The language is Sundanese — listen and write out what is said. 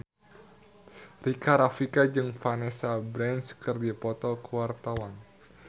Rika Rafika jeung Vanessa Branch keur dipoto ku wartawan